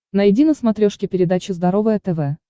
найди на смотрешке передачу здоровое тв